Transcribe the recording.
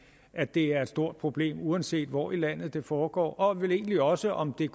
at det er et stort problem uanset hvor i landet det foregår og vel egentlig også om det er